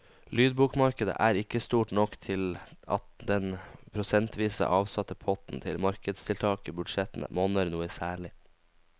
Lydbokmarkedet er ikke stort nok til at den prosentvis avsatte potten til markedstiltak i budsjettene monner noe særlig.